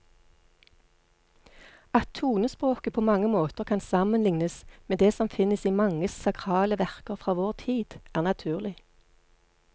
At tonespråket på mange måter kan sammenlignes med det som finnes i mange sakrale verker fra vår tid, er naturlig.